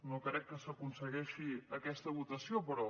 no crec que s’aconsegueixi aquesta votació però